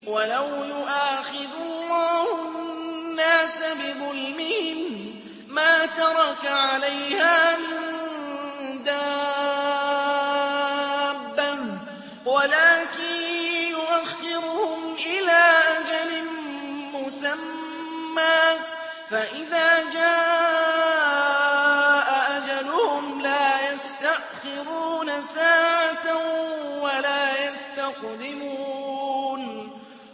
وَلَوْ يُؤَاخِذُ اللَّهُ النَّاسَ بِظُلْمِهِم مَّا تَرَكَ عَلَيْهَا مِن دَابَّةٍ وَلَٰكِن يُؤَخِّرُهُمْ إِلَىٰ أَجَلٍ مُّسَمًّى ۖ فَإِذَا جَاءَ أَجَلُهُمْ لَا يَسْتَأْخِرُونَ سَاعَةً ۖ وَلَا يَسْتَقْدِمُونَ